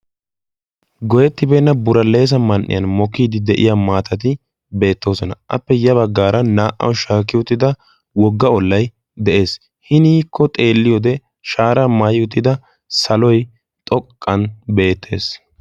goyettibeenna buraleesa man77iyan mokiidi de7iya maatati beettoosona. appe ya baggaara naa77awu shaaki uttida wogga ollay de7ees. hiniikko xeelliyo wode shaara maayi utida saloy xoqqan beettees.